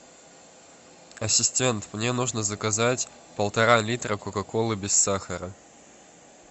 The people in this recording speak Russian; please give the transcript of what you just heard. ассистент мне нужно заказать полтора литра кока колы без сахара